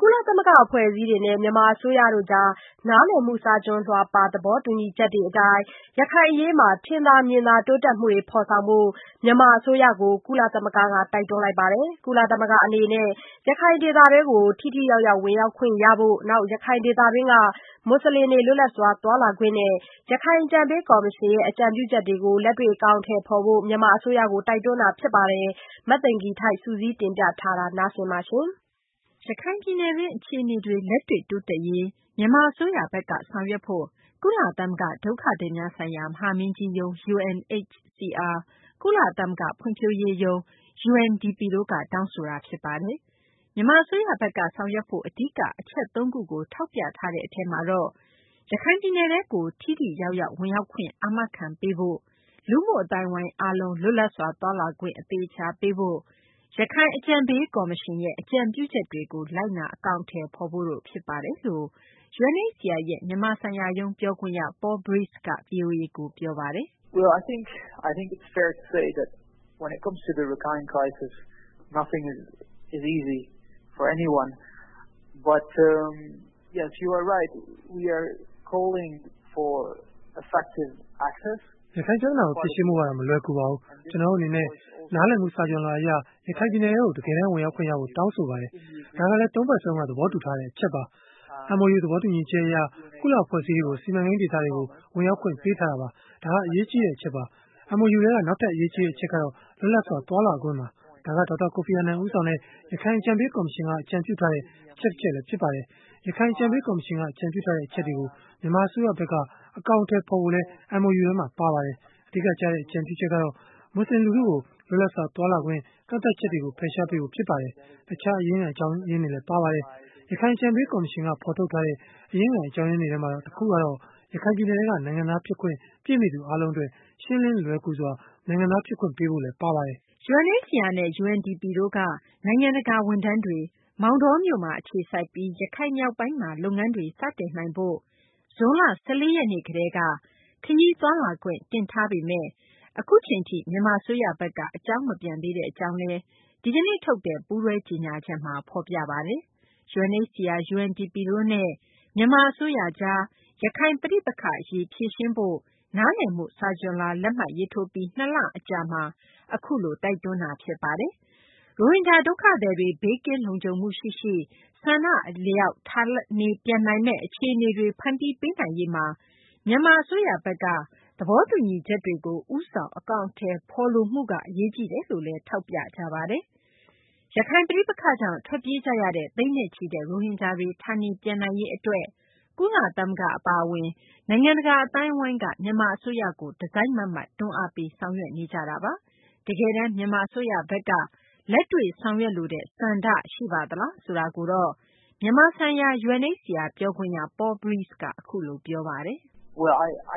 ကုလသမဂ္ဂ အဖွဲ့အစည်းတွေနဲ့ မြန်မာ အစိုးရကြား နားလည်မှု စာချွန်လွှာပါ သဘောတူညီချက်တွေ အတိုင်း ရခိုင်အရေးမှာ ထင်သာမြင်သာ တိုးတက်မှုတွေ ဖော်ဆောင်ဖို့ မြန်မာ အစိုးရကို ကုလသမဂ္ဂက တိုက်တွန်းလိုက်ပါတယ်။ ကုလသမဂ္ဂ အနေနဲ့ ရခိုင်ဒေသတွင်း ထိထိရောက်ရောက် ဝင်ရောက်ခွင့်ရဖို့၊ ရခိုင်ဒေသတွင်းက မူဆလင်တွေ လွတ်လပ်စွာ သွားလာခွင့်နဲ့ ရခိုင်အကြံပေး ကော်မရှင်ရဲ့ အကြံပြုချက်တွေကို အကောင်အထည်ဖော်ဖို့ မြန်မာ အစိုးရကို တိုက်တွန်းတာ ဖြစ်ပါတယ်။ မသိင်္ဂ ီထိုက် စုစည်းတင်ပြထားပါတယ်။ ရခိုင်ပြည်နယ်တွင်း အခြေအနေတွေ လက်တွေ့ တိုးတက်ရေး မြန်မာ အစိုးရဘက်က ဆောင်ရွက်ဖို့ ကုလသမဂ္ဂ ဒုက္ခသည်များဆိုင်ရာ မဟာမင်းကြီးရုံး UNHCR ၊ ကုလသမဂ္ဂ ဖွံ့ဖြိုးရေးရုံး UNDP တို့က တောင်းဆိုလိုက်တာ ဖြစ်ပါတယ်။ မြန်မာ အစိုးရဘက်က ဆောင်ရွက်ဖို့ အဓိက အချက်သုံးခုကို ထောက်ပြတဲ့ အထဲမှာတော့ ရခိုင်ပြည်နယ်ထဲကို ထိထိရောက်ရောက် ဝင်ရောက်ခွင့် အာမခံပေးဖို့၊ လူမှုအသိုင်းအဝိုင်း အားလုံး လွတ်လပ်စွာ သွားလာခွင့် အသေအချာပေးဖို့၊ ရခိုင်အကြံပေး ကော်မရှင်ရဲ့ အကြံပြုချက်တွေကို အကောင်အထည်ဖော်ဖို့တို့ ဖြစ်ပါတယ်လို့ UNHCR ရဲ့ မြန်မာဆိုင်ရာရုံး ပြောခွင့်ရ Paul Vrieze က ဗွီအိုအေကို အခုလို ပြောပါတယ်။ "ရခိုင်ပြသနာကို ဖြေရှင်းဖို့ကတော့ မလွယ်ကူပါဘူး။ ကျနော်တို့ အနေနဲ့ နားလည်မှု စာချွန်လွှာအရ ရခိုင်ပြည်နယ်ထဲကို တကယ်တန်း ဝင်ရောက်ခွင့်ရဖို့ တောင်းဆိုပါတယ်။ ဒါကလည်း သုံးဘက်စလုံးက သဘောတူထားတဲ့ အချက်ပါ။ MOU သဘောတူညီချက် အရ ကုလ အဖွဲ့အစည်းတွေကို စီမံကိန်း ဒေသတွေကို ဝင်ရောက်ခွင့်ပေးထားတာပါ။ ဒါက အရေးကြီးတဲ့ အချက်ပါ။ MOU ထဲက နောက်ထပ် အရေးကြီးတဲ့ အချက်ကတော့ လွတ်လပ်စွာ သွားလာခွင့်ပါ။ ဒါက ဒေါက်တာ ကိုဖီအာနန် ဦးဆောင်တဲ့ ရခိုင် အကြံပေး ကော်မရှင်က အကြံပြုထားတဲ့ အချက်လည်း ဖြစ်ပါတယ်။ ရခိုင် အကြံပေး ကော်မရှင်က အကြံပြုထားတဲ့ အချက်တွေကို မြန်မာ အစိုးရဘက်က အကောင်အထည်ဖော်ဖို့လည်း MOU မှာ ပါပါတယ်။ အဓိက ကျတဲ့ အကြံပြုချက်ကတော့ မူဆလင် လူထုကို လွတ်လပ်စွာ သွားလာခွင့် ကန့်သတ်ချက်တွေကို ဖယ်ရှားပေးဖို့ ဖြစ်ပါတယ်။ တခြား အရင်းခံ အကြောင်းတွေလည်း ပါပါတယ်။ ရခိုင် အကြံပေး ကော်မရှင်က ဖော်ထုတ်ထားတဲ့ အရင်းခံ အကြောင်းရင်းတွေထဲမှာ တခုကတော့ ရခိုင်ပြည်နယ်ထဲက နိုင်ငံသား ဖြစ်ခွင့် ပြည့်မီသူ အားလုံး အတွက် ရှင်းလင်း လွယ်ကူစွာ နိုင်ငံသား ဖြစ်ခွင့်ပေးဖို့လည်း ပါဝင်ပါတယ်။" UNHCR နဲ့ UNDP တို့က နိုင်ငံတကာ ဝန်ထမ်းတွေ မောင်တောမြို့မှာ အခြေစိုက်ပြီး ရခိုင်မြောက်ပိုင်းမှာ လုပ်ငန်းတွေ စတင်ဖို့ ဇွန်လ ၁၄ ရက်နေ့ကတည်းက ခရီးသွားလာခွင့် တင်ထားပေမယ့် အခုအချိန်ထိ မြန်မာ အစိုးရဘက်က အကြောင်းမပြန်သေးတဲ့ အကြောင်းလည်း ဒီကနေ့ ပူးတွဲ ကြေညာချက်မှာ ဖော်ပြပါတယ်။ UNHCR ၊ UNDP တို့နဲ့ မြန်မာ အစိုးရကြား ရခိုင် ပဋိပက္ခအရေး ဖြေရှင်းဖို့ အတွက် နားလည်မှု စာချွန်လွှာ လက်မှတ်ရေးထိုးပြီး ၂ လအကြာမှာ အခုလို တိုက်တွန်းတာ ဖြစ်ပါတယ်။ ရိုဟင်ဂျာ ဒုက္ခသည်တွေ ဘေးကင်းလုံခြုံမှု ရှိရှိ ဆန္ဒ အလျောက် ဌာနေပြန်နိုင်မယ့် အခြေအနေတွေ ဖန်တီးပေးနိုင်ရေးမှာ မြန်မာ အစိုးရဘက်က သဘောတူညီချက်တွေကို ဦးဆောင် အကောင်အထည်ဖော်လိုမှုက အရေးကြီးတယ်လို့လည်း ထောက်ပြကြပါတယ်။ ရခိုင်ပဋိပက္ခကြောင့် ထွက်ပြေးရတဲ့ သိန်းနဲ့ချီတဲ့ ရိုဟင်ဂျာတွေ ဌာနေပြန်နိုင်ရေး အတွက် ကုလသမဂ္ဂ အပါအဝင် နိုင်ငံတကာ အသိုင်းအဝိုင်းက မြန်မာ အစိုးရကို တစိုက်မတ်မတ် တွန်းအားပေး ဆောင်ရွက်နေတာပါ။ တကယ်တန်း မြန်မာ အစိုးရဘက်က လက်တွေ့ ဆောင်ရွက်လိုတဲ့ ဆန္ဒ ရှိပါသလားဆိုတာကိုတော့ မြန်မာဆိုင်ရာ UNHCR ပြောခွင့်ရ Paul Verize က အခုလို ပြောပါတယ်။ "အနာဂတ် အ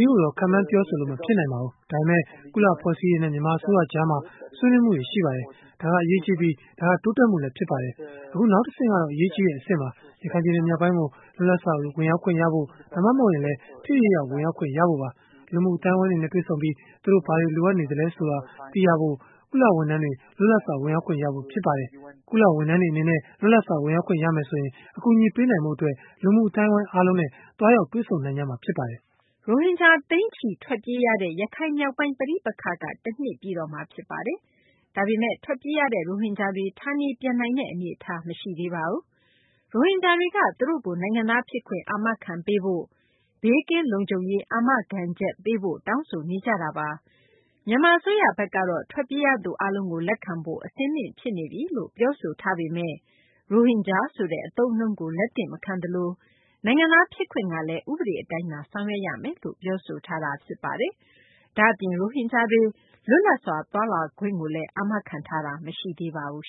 ရေးကိုတော့ ခန့်မှန်းပြောဆိုလို့ မဖြစ်နိုင်ပါဘူး။ ဒါပေမယ့် ကုလ အဖွဲ့အစည်းတွေနဲ့ မြန်မာ အစိုးရကြားမှာ ဆွေးနွေးမှုတွေ ရှိပါတယ်။ ဒါက အရေးကြီးပြီး ဒါက တိုးတက်မှုလည်း ဖြစ်ပါတယ်။ အခု နောက်တဆင့်ကတော့ အရေးကြီးတဲ့ အဆင့်ပါ။ ရခိုင်ပြည်နယ်မြောက်ပိုင်းကို လွတ်လပ်စွာ ဝင်ရောက်ခွင့်ရဖို့ ဒါမှမဟုတ်လည်း ထိထိရောက်ရောက် ဝင်ရောက်ခွင့် ရဖို့ပါ။ လူမှု အသိုင်းအဝိုင်းတွေနဲ့ တွေ့ပြီး သူတို့ ဘာတွေ လိုအပ်နေသလဲ ဆိုတာ သိရဖို့ ကုလ ဝန်ထမ်းတွေ လွတ်လပ်စွာ ဝင်ရောက်ခွင့် ရဖို့ ဖြစ်ပါတယ်။ ကုလ ဝန်ထမ်းတွေ အနေနဲ့ လွတ်လပ်စွာ ဝင်ရောက်ခွင့်ရမယ်ဆိုရင် အကူအညီပေးနိုင်ဖို့ အတွက် လူမှု အသိုင်းအဝိုင်း အားလုံးနဲ့ သွားရောက် တွေ့ဆုံ နိုင်မှာ ဖြစ်ပါတယ်။" ရိုဟင်ဂျာ သိန်းချီ ထွက်ပြေးရတဲ့ ရခိုင်မြောက်ပိုင်း ပဋိပက္ခက ၁ နှစ်ပြည့်တော့မှာ ဖြစ်ပါတယ်။ ဒါပေမယ့် ထွက်ပြေးရတဲ့ ရိုဟင်ဂျာတွေ ဌာနေပြန်နိုင်တဲ့ အနေအထား မရှိသေးပါဘူး။ ရိုဟင်ဂျာတွေက သူတို့ကို နိုင်ငံသားဖြစ်ခွင့် အာမခံဖို့၊ ဘေးကင်းလုံခြုံရေး အာမခံချက်ပေးဖို့ တောင်းဆိုနေကြတာပါ။ မြန်မာ အစိုးရဘက်ကတော့ ထွက်ပြေးရသူ အားလုံးကို လက်ခံဖို့ အဆင်သင့် ဖြစ်နေပြီလို့ ပြောဆိုထားပေမယ့် ရိုဟင်ဂျာ ဆိုတဲ့ အသုံးအနှုန်းကို လက်သင့်မခံသလို နိုင်ငံသား ဖြစ်ခွင့်ကလည်း ဥပဒေ အတိုင်းသာ ဆောင်ရွက်ရမယ်လို့ ပြောဆိုထားတာ ဖြစ်ပါတယ်။ ဒါ့အပြင် ရိုဟင်ဂျာတွေ လွတ်လပ်စွာ သွားလာခွင့်ကိုလည်း အာမခံထားတာ မရှိသေးပါဘူး